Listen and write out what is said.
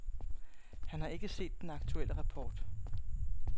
Han har ikke set den aktuelle rapport.